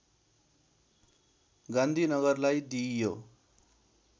गान्धीनगरलाई दिइयो